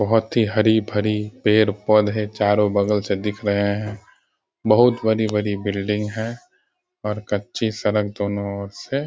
बहुत ही हरी-भरी पेड़-पौधे चारो बगल से दिख रहें हैं। बहुत बड़ी-बड़ी बिल्डिंग है और कच्ची सड़क दोनों और से --